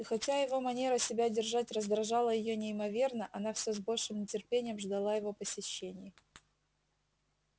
и хотя его манера себя держать раздражала её неимоверно она все с большим нетерпением ждала его посещений